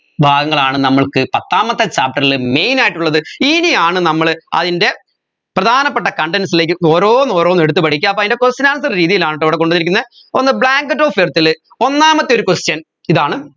ഭാഗങ്ങളാണ് നമ്മൾക്ക് പത്താമത്തെ chapter ൽ main ആയിട്ടുള്ളത് ഇനിയാണ് നമ്മൾ അതിൻറെ പ്രധാനപ്പെട്ട contents ലെക് ഓരോന്ന് ഓരോന്ന് എടുത്ത് പഠിക്ക അപ്പോ അതിൻെറ question answer രീതിയിലാണട്ടോ ഇവിടെ കൊണ്ടുപോയിരിക്കുന്നെ ഒന്ന് blanket of earth ലെ ഒന്നാമത്തെ ഒരു question ഇതാണ്